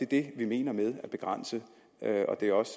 det vi mener med at begrænse det og det er også